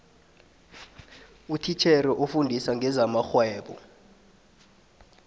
utitjhere ofundisa ngezamarhwebo